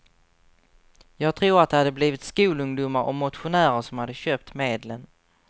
Jag tror att det hade blivit skolungdomar och motionärer som hade köpt medlen.